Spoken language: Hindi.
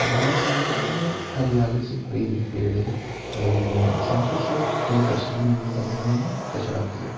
बाए साइड में हरियाली से भरी हुए पेड़े लगी हुई है। साथ ही साथ दो डस्टबिन भी बने हुए है कचरा के लिए।